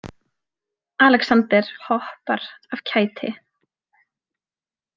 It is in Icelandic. Alexander hoppar af kæti.